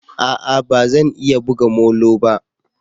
A'a! Ba zan iya buga molo ba.